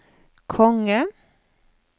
konge